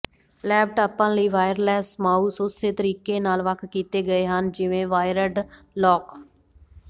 ਲੈਪਟਾਪਾਂ ਲਈ wireless mouse ਉਸੇ ਤਰੀਕੇ ਨਾਲ ਵੱਖ ਕੀਤੇ ਗਏ ਹਨ ਜਿਵੇਂ ਵਾਇਰਡ ਲੋਕ